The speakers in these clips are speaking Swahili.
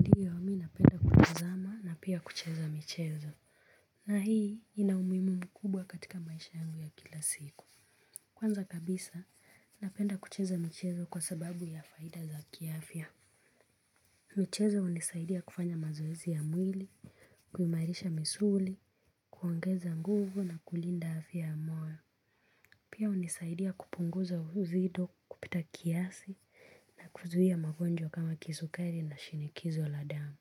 Ndio mimi napenda kutazama na pia kucheza michezo. Na hii inaumuhimu mkubwa katika maisha yangu ya kila siku. Kwanza kabisa napenda kucheza michezo kwa sababu ya faida za kiafya. Michezo hunisaidia kufanya mazoezi ya mwili, kuimalisha misuli, kuongeza nguvu na kulinda afya ya moyo. Pia hunisaidia kupunguza uzito kupita kiasi na kuzuia magonjwa kama kisukari na shinikizo la damu.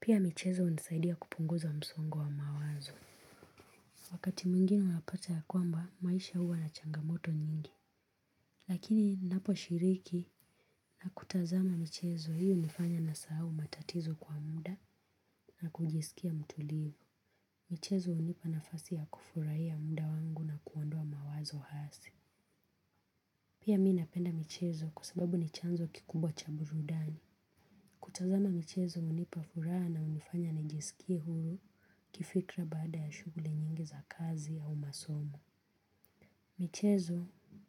Pia michezo hunisaidia kupunguza msongo wa mawazo. Wakati mwingine unapata ya kwamba, maisha huwa na changamoto nyingi. Lakini ninapo shiriki na kutazama michezo hii hunifanya nasahau matatizo kwa muda na kujisikia mtulivu. Michezo hunipa nafasi ya kufurahiya muda wangu na kuondoa mawazo hasi. Pia mimi napenda michezo kwa sababu ni chanzo kikumbwa cha burudani. Kutazama michezo hunipafuraha na hunifanya nijisikie hulu kifikra baada ya shughuli nyingi za kazi au masomo. Michezo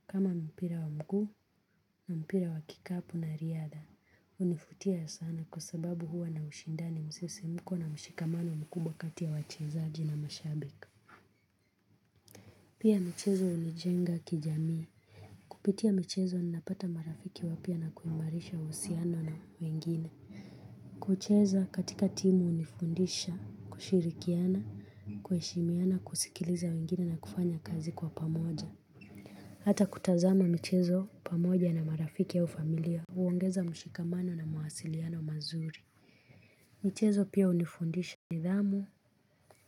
kama mpira wa mguu na mpira wa kikapu na riada, hunivutia sana kwa sababu huwa na ushindani musisimuko na mshikamano mkubwa kati ya wachezaji na mashabiki. Pia michezo hunijenga kijamii. Kupitia michezo ninapata marafiki wapya na kuimalisha uhusiano na wengine. Kucheza katika timu hunifundisha, kushirikiana, kuheshimiana, kusikiliza wengine na kufanya kazi kwa pamoja. Hata kutazama michezo pamoja na marafiki au familia huongeza mshikamano na mawasiliano mazuri. Michezo pia hunifundisha nidhamu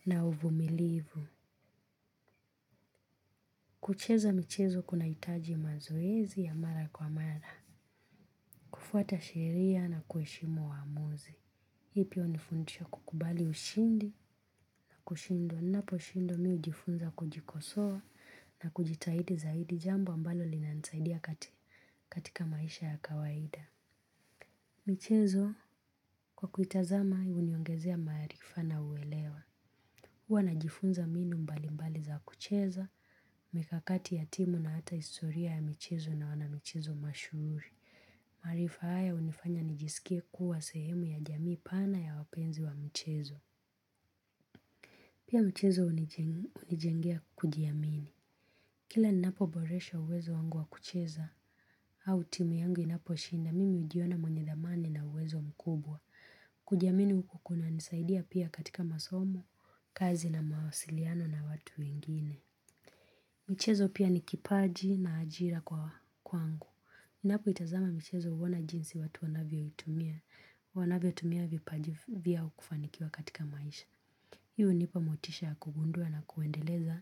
na uvumilivu. Kucheza michezo kunahitaji mazoezi ya mara kwa mara. Kufuata sheria na kuheshimu waamuzi. Hii pia hunifundisha kukubali ushindi na kushindwa. Ninapo shindwa mimi hujifunza kujikosoa na kujitahidi zaidi jambo ambalo linanisaidia katika maisha ya kawaida. Michezo kwa kuitazama huniongezea maarifa na uelewa. Huwa najifunza mbinu mbali mbali za kucheza, mikakati ya timu na hata historia ya michezo na wana michezo mashuhuri. Maarifa haya hunifanya nijisikie kuwa sehemu ya jamii pana ya wapenzi wa michezo. Pia mchezo hunijengea kujiamini. Kila ninapo boresha uwezo wangu wa kucheza au timu yangu inapo shinda mimi hujiona mwenye dhamani na uwezo mkubwa. Kujiamini huku kuna nisaidia pia katika masomo, kazi na mawasiliano na watu wengine. Michezo pia ni kipaji na ajira kwangu. Ninapo itazama michezo huona jinsi watu wanavyo itumia. Wanavyo tumia vipaji vyao kufanikiwa katika maisha. Hii hunipa motisha ya kugundua na kuendeleza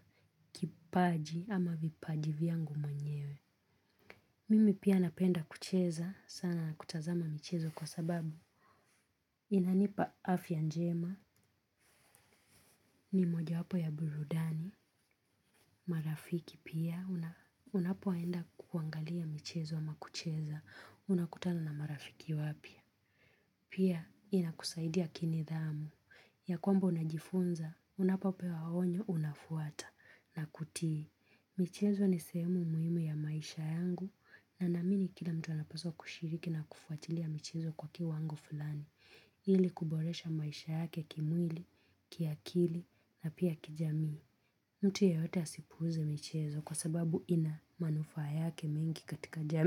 kipaji ama vipaji vyangu mwenyewe. Mimi pia napenda kucheza sana na kutazama michezo kwa sababu inanipa afya njema, ni moja wapo ya burudani, marafiki pia, unapoenda kuangalia michezo ama kucheza, unakutana na marafiki wapya. Pia inakusaidia kini dhamu. Ya kwamba unajifunza, unapopewa onyo unafuata na kutii. Michezo ni semu muhimu ya maisha yangu na naamini kila mtu anapaswa kushiriki na kufuatilia michezo kwa kiwango fulani. Ili kuboresha maisha yake kimwili, kiakili na pia kijamii. Mtu yeyote asipuuze michezo kwa sababu ina manufa yake mengi katika jamii.